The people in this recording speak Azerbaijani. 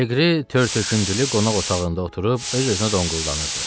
Leqri tər töküntülü qonaq otağında oturub öz-özünə donquldanırdı.